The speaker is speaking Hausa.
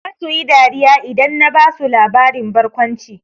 Zasu yi dariya idan na basu labarin barkwanci.